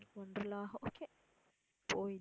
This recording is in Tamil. வொண்டர் லா okay போய்தான்